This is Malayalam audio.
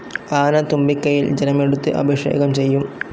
ആന തുമ്പികൈയിൽ ജലം എടുത്ത് അഭിഷേകം ചെയ്യും.